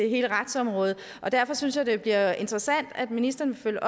hele retsområdet derfor synes jeg det bliver interessant at ministeren vil